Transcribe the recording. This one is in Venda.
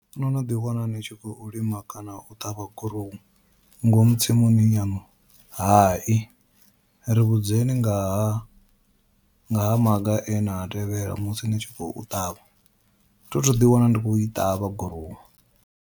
No no ḓi wana ni tshi khou lima kana u ṱavha gurowu ngomu tsimuni yaṋu, hai ri vhudzekani ngaha ngaha maga e na a tevhela musi ni tshi khou ṱavha thi thu ḓi wana ndi khou i ṱavha gurowu.